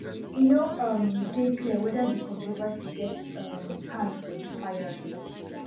e no um dey clear weda di controversy get um hand for di firing